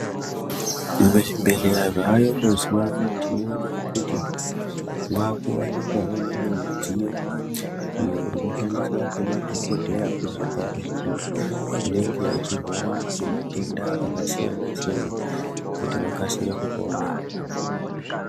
Muzvibhedhlera zvaayo mazuwa ano, tinoona kuti mwaakuwanikwawo mimwe midziyo, iyo inoshandiswa ngemadhokodheya kurapa antu anenge achirwara ngematenda akasiyana-siyana, kuti vakasire kupona.